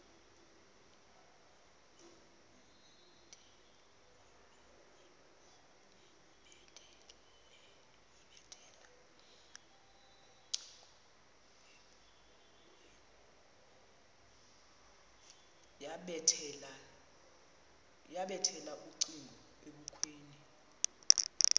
yabethela ucingo ebukhweni